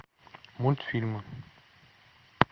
мультфильмы